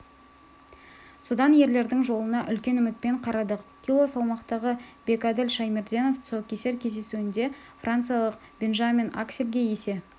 содан ерлердің жолына үлкен үмітпен қарадық кило салмақтағы бекәділ шаймерденов тұсаукесер кездесуінде франциялық бенжамин акселге есе